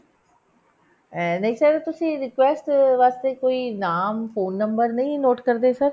ਆਹ ਨਹੀਂ sir ਤੁਸੀਂ request ਵਾਸਤੇ ਕੋਈ ਨਾਮ phone number note ਨਹੀਂ ਕਰਦੇ sir